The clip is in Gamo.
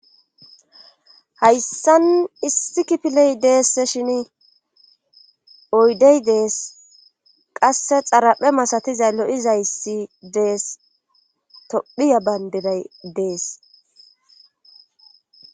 hayssan issi kipiley deess shin oydey dees qasse xaraphe masatiza lo7izayssi dees tophiya bayndiray dees